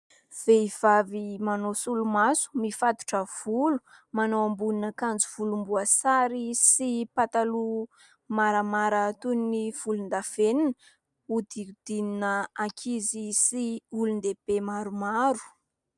Vehivavy manao solomaso, mifatotra volo, manao ambonina akanjo volomboasary sy pataloha maramara toy ny volondavenona, hodidinina ankizy sy olondehibe maromaro.